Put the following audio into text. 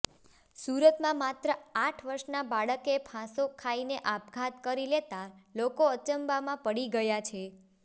સુરતમાં માત્ર આઠ વર્ષના બાળકે ફાંસો ખાઈને આપઘાત કરી લેતાં લોકો અચંબામાં પડી ગયા છે